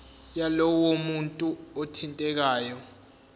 yalowo muntu othintekayo